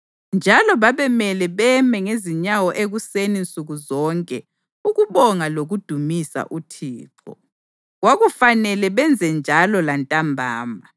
Njalo babemele beme ngezinyawo ekuseni nsuku zonke ukubonga lokudumisa uThixo. Kwakufanele benzenjalo lantambama,